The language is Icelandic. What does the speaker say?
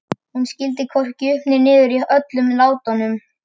Hún skildi hvorki upp né niður í öllum látunum.